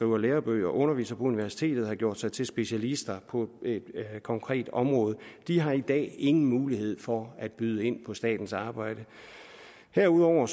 og lærebøger og underviser på universitetet og har gjort sig til specialister på konkrete områder de har i dag ingen mulighed for at byde ind på statens arbejde derudover